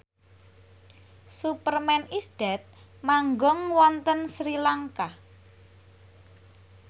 Superman is Dead manggung wonten Sri Lanka